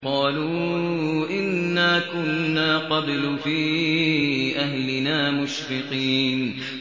قَالُوا إِنَّا كُنَّا قَبْلُ فِي أَهْلِنَا مُشْفِقِينَ